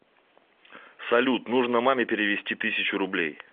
салют нужно маме перевести тысячу рублей